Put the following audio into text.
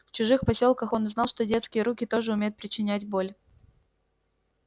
в чужих посёлках он узнал что детские руки тоже умеют причинять боль